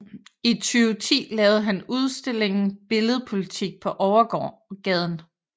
I 2010 lavede han udstillingen Billed Politik på Overgaden